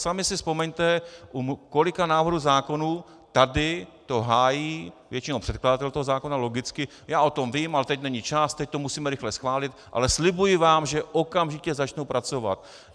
Sami si vzpomeňte, u kolika návrhů zákonů tady to hájí většinou předkladatel toho zákona, logicky: "Já o tom vím, ale teď není čas, teď to musíme rychle schválit, ale slibuji vám, že okamžitě začnu pracovat."